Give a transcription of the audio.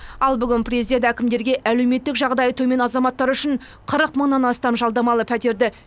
ал бүгін президент әкімдерге әлеуметтік жағдайы төмен азаматтар үшін қырық мыңнан астам жалдамалы пәтерді